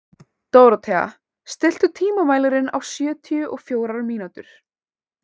Dórothea, stilltu tímamælinn á sjötíu og fjórar mínútur.